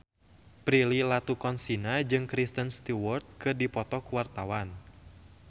Prilly Latuconsina jeung Kristen Stewart keur dipoto ku wartawan